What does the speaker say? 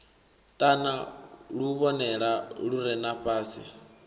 ṱana luvhonela lu re fhasi